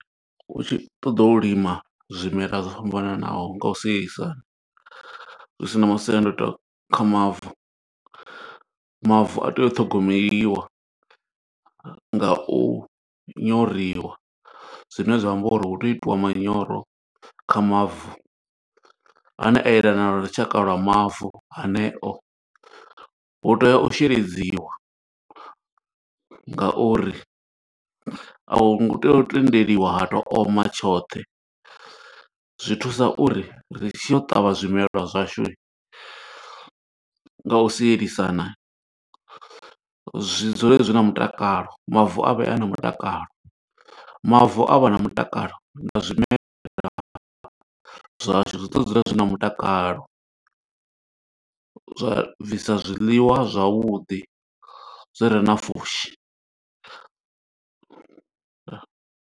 U tshi ṱoḓo u lima zwimela zwo fhambananaho nga u sielisana, zwi sina masiandoitwa kha mavu. Mavu a tea u ṱhogomeliwa nga u nyoriwa, zwine zwa amba uri hu tea u itiwa manyoro kha mavu, ane a yelana na lushaka lwa mavu haneo. Hu tea u sheledziwa nga uri a hu ngo tea u tendeliwa ha to oma tshoṱhe. Zwi thusa uri, ri tshi ya u ṱavha zwimelwa zwashu nga u sielisana, zwi dzule zwi na mutakalo, mavu avhe na mutakalo. Mavu a vha na mutakalo, na zwimela zwashu zwi ḓo dzula zwi na mutakalo. Zwa bvisa zwiḽiwa zwavhuḓi, zwi re na pfushi.